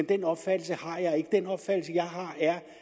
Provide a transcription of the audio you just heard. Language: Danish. den opfattelse jeg har er